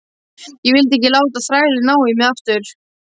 Ég vildi ekki láta þrælinn ná í mig aftur.